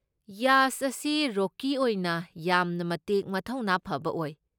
ꯌꯥꯁ ꯑꯁꯤ ꯔꯣꯀꯤ ꯑꯣꯏꯅ ꯌꯥꯝꯅ ꯃꯇꯤꯛ ꯃꯊꯧꯅꯥ ꯐꯕ ꯑꯣꯏ꯫